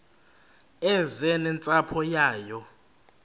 eze nentsapho yayo